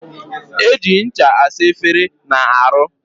Eji ncha asa efere na aru.